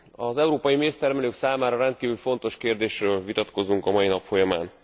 Az európai méztermelők számára rendkívül fontos kérdésről vitatkozunk a mai nap folyamán.